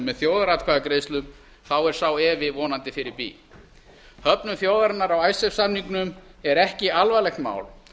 með þjóðaratkvæðagreiðslum er sá efi vonandi fyrir bí höfnun þjóðarinnar á icesave samningnum er ekki alvarlegt mál